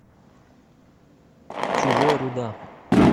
чужой руда